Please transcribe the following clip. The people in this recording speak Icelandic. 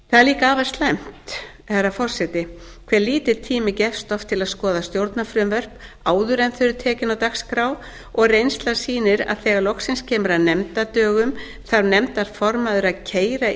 líka afar slæmt herra forseti hve lítill tími gefst oft til að skoða stjórnarfrumvörp áður en þau eru tekin á dagskrá og reynslan sýnir að þegar loksins kemur að nefndardögum þarf nefndarformaður að keyra